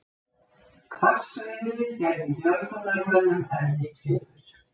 Hvassviðrið gerði björgunarmönnum erfitt fyrir